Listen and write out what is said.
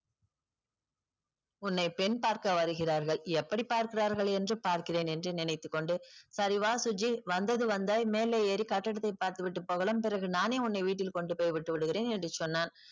உன்னை பெண் பார்க்க வருகிறார்கள் எப்படி பார்க்கிறார்கள் என்று பார்க்கிறேன் என்று நினைத்துக்கொண்டு சரி வா சுஜி வந்தது வந்த மேலே ஏறி கட்டடத்தை பார்த்துவிட்டு போகலாம் பிறகு நானே உன்னை வீட்டில் கொண்டுபோய் விட்டு விடுகிறேன் என்று சொன்னான்.